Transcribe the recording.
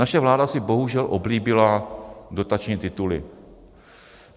Naše vláda si bohužel oblíbila dotační tituly.